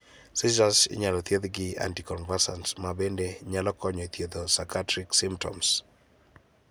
Seiures inyalo thiethi gi anti convulsants ma bende nyalo konyo e thietho psychiatric symptoms.